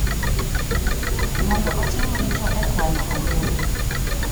mondo otim richo e kwano ombulu.